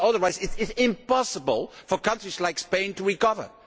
Because otherwise it will be impossible for countries like Spain to recover.